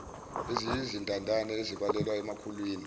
eziyizintandane ezibalelwa emakhulwini